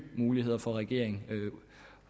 muligheder for regeringen